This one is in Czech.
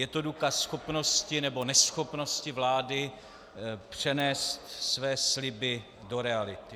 Je to důkaz schopnosti nebo neschopnosti vlády přenést své sliby do reality.